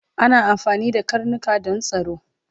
Ana amfani da karnika Dan tsaro